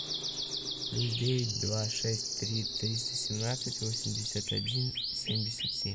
плюс девять два шесть три триста семнадцать восемьдесят один семьдесят семь